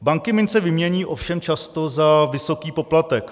Banky mince vymění, ovšem často za vysoký poplatek.